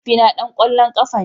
Mahaifina dan kwallon kafa ne.